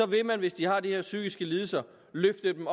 vil man hvis de har de her psykiske lidelser løfte dem